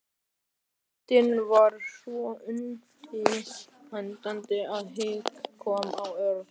Bóndinn var svo undrandi að hik kom á Örn.